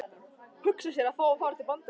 Hugsa sér, að fá að fara til Bandaríkjanna!